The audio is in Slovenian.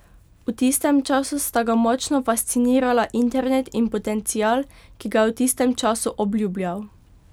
V tistem času sta ga močno fascinirala internet in potencial, ki ga je v tistem času obljubljal.